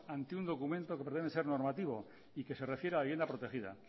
ante un documento que prevé ser normativo y que se refiere a la vivienda protegida